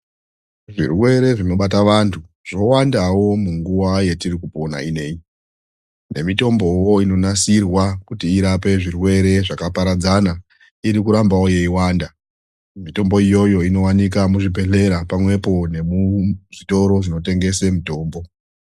Zvirwere zvinobata vantu zvowandawo munguva yatirikupona ineyi, nemitomboo inonasirwa kuti irape zvirwere zvakaparadzana irikurambawo yeiwanda. Mitombo iyoyo inowanikwa muzvidhedhlera pamwepo nemuzvitoro zvinotengese mitombo.